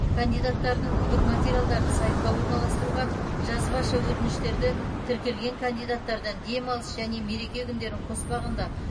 кандидаттардың үгіт материалдарын сайтқа орналастыруға жазбаша өтініштерді тіркелген кандидаттардан демалыс және мереке күндерін қоспағанда